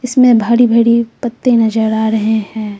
इसमें भारी भरी पत्ते नजर आ रहे हैं।